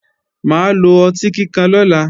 Mà á lo ọtí kíkan lọ́la